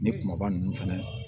Ni kumaba ninnu fɛnɛ